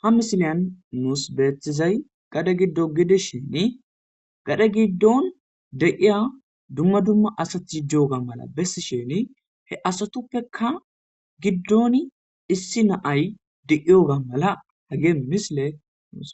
Ha misiliyan nus beetizay gade gido gidishin gade gidon de'iza duma duma asati diyoga besishini he asatuppeka gidon issi na'ay de'iyoga mala hagey misiley